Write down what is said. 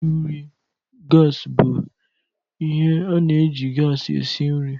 Igwe isi nri gasi bụ ihe na eji gasi esi nri.